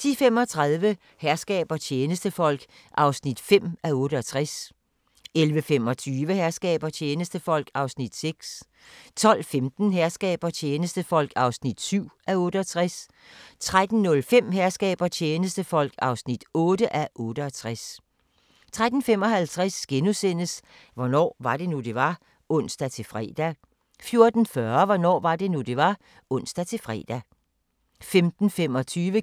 10:35: Herskab og tjenestefolk (5:68) 11:25: Herskab og tjenestefolk (6:68) 12:15: Herskab og tjenestefolk (7:68) 13:05: Herskab og tjenestefolk (8:68) 13:55: Hvornår var det nu, det var? *(ons-fre) 14:40: Hvornår var det nu, det var? (ons-fre) 15:25: